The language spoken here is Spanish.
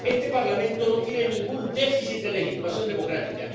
Este Parlamento no tiene ningún déficit de legitimación democrática.